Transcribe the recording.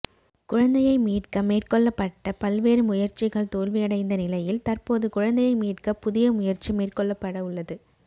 குழந்தையை மீட்க மேற்கொள்ளப்பட்ட பல்வேறு முயற்சிகள் தோல்வியடைந்த நிலையில் தற்போது குழந்தையை மீட்க புதிய முயற்சி மேற்கொள்ளப்பட உள்ளது